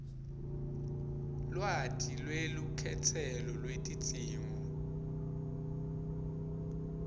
lwati lwelukhetselo lwetidzingo